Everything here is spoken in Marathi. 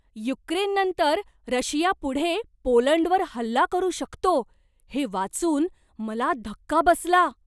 युक्रेननंतर रशिया पुढे पोलंडवर हल्ला करू शकतो हे वाचून मला धक्का बसला.